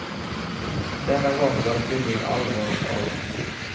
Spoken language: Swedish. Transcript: Denna gång var det tydligen allvar av.